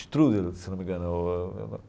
Strudel, se não me engano.